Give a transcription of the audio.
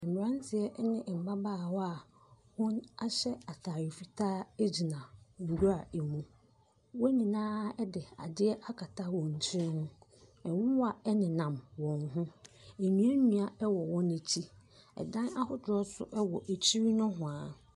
Mmeranteɛ ne mmabaawa a wɔahyɛ atare fitaa gyina nwura mu. Wɔn nyinaa de adeɛ akata wɔn tiri ho. Nwowa nenam wɔn ho. Nnuannua wowɔ wɔn akyi. Dan ahodoɔ nso wɔ akyiri nohoa.